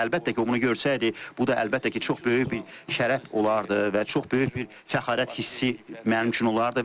Və əlbəttə ki, o bunu görsəydi, bu da əlbəttə ki, çox böyük bir şərəf olardı və çox böyük bir fəxarət hissi mənim üçün olardı.